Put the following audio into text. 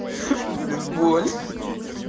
блин боль